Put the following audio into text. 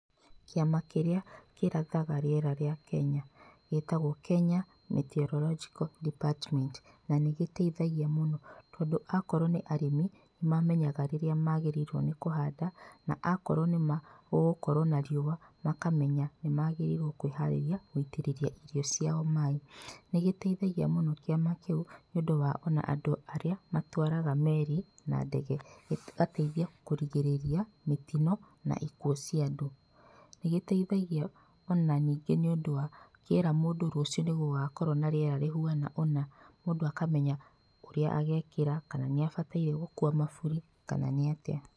Kĩama kĩrĩa kĩrathaga rĩera rĩa Kenya gĩtagwo Kenya Meteorological Department, na nĩgĩteithagia mũno tondũ akorwo nĩ arĩmi, nĩmamenyaga rĩrĩa magĩrĩrĩrwo nĩ kũhanda na akorwo nĩ ma gũkorwo na riũa makamenya ni magĩrĩirwo kwĩharĩrĩa gũitĩrĩria irio ciao maĩ. Nĩgĩteithagia mũno kĩama kĩu nĩũndũ wa andũ arĩa matwaraga meri na ndege. Gĩgateithia kũrigĩrĩria mĩtino na ikuũ cia andũ. Nĩ gĩteithagia o na ningĩ nĩũndũ wa kĩera mũndũ rũcio nĩgũgakorwo na rĩera rĩhuana ũna, mũndũ akamenya ũrĩa agekĩra kana nĩ abataire gũkua maburi kana nĩ atĩa.